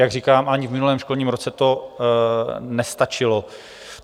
Jak říkám, ani v minulém školním roce to nestačilo.